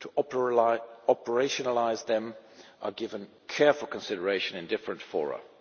to operationalise them are given careful consideration in different fora.